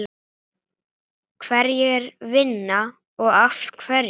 Hverjir vinna og af hverju?